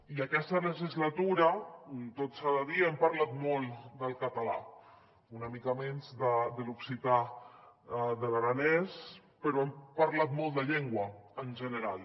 i aquesta legislatura tot s’ha de dir hem parlat molt del català una mica menys de l’occità de l’aranès però hem parlat molt de llengua en general